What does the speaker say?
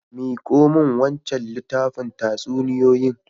Miko min wancan littafin tatsuniyoyin.